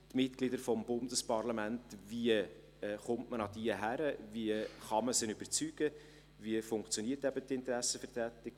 Wie kommt man an die Mitglieder des Bundesparlaments heran, wie kann man sie überzeugen, wie funktioniert eben die Interessenvertretung?